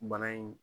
Bana in